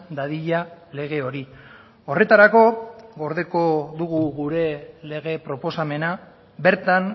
dadila lege hori horretarako gordeko dugu gure lege proposamena bertan